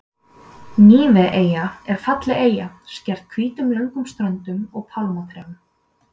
Níveeyja er falleg eyja skreytt hvítum löngum ströndum og pálmatrjám.